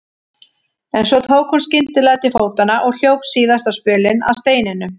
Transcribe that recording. En svo tók hún skyndilega til fótanna og hljóp síðasta spölinn að steininum.